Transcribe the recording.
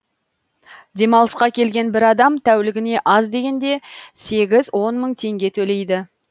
демалысқа келген бір адам тәулігіне аз дегенде сегіз он мың теңге төлейді